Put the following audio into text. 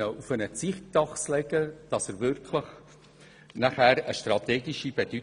auf eine Zeitachse legen.